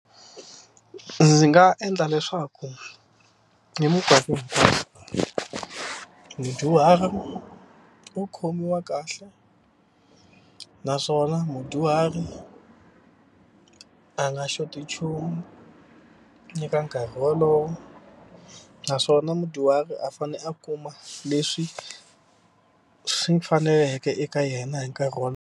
Ndzi nga endla leswaku hi mikarhi mudyuhari u khomiwa kahle naswona mudyuhari a nga xoti nchumu eka nkarhi wolowo naswona mudyuhari a fane a kuma leswi swi faneleke eka yena hi nkarhi .